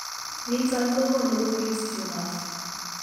Niton kogonu kobit tumors ak